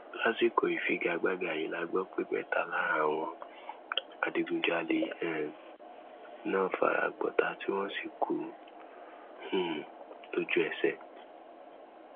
lásìkò ìfigagbága yìí la gbọ pé mẹta lára àwọn adigunjalè um náà fara gbọtà tí wọn sì kú um lójúẹsẹ